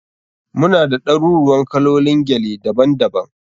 Muna da ɗaruruuwan kalolin gele daban daban.